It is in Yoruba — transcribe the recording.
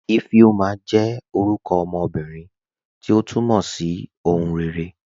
Ifeoma jẹ́ orúkọ ọmọ ọmọbírín, tí o túmọ̀ sí "ọ̀hùn rẹ̀ré.